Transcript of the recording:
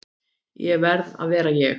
Ég verð að vera ég.